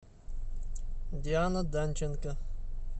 диана данченко